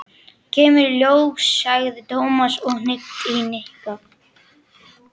Kemur í ljós, sagði Tómas og hnippti í Nikka.